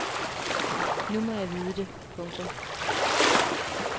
Nu må jeg vide det. punktum